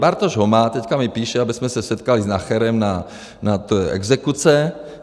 Bartoš ho má, teďka mi píše, abychom se setkali s Nacherem na exekuce.